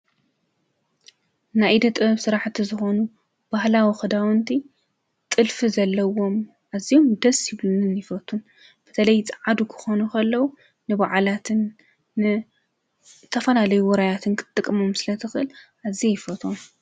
ናይ ኢደ ጥበብ ስራሕቲ ዝኾኑ ባህላዊ ክዳንዉንቲ ጥልፊ ዘለዎም ኣዝዮም ደስ ይቡሉንን ይፈቱን በተለይ ፀዓዱ ክኾኑ ከለዉ ንባዓላትን ንዝተፈላለዩ ዉራያትን ክትጥቀሞም ስለ ትኽእል ኣዝየ ይፈትዎም፡፡